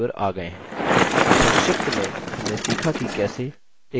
संक्षिप्त में हमने सीखा की कैसे: